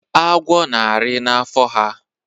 Agwo na-arị na n'afọ ha.